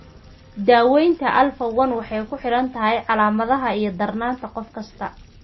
Daawaynta alfa 1 antitrypsin deficiency (AATD) waxay ku xidhan tahay calaamadaha iyo darnaanta qof kasta.